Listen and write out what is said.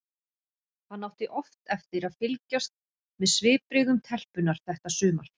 Hann átti oft eftir að fylgjast með svipbrigðum telpunnar þetta sumar.